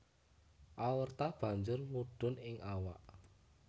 Aorta banjur mudhun ing awak